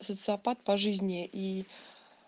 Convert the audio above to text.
социопат по жизни и